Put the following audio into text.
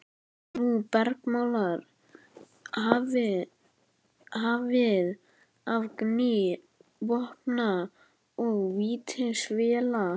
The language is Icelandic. Og nú bergmálar hafið af gný vopna og vítisvéla.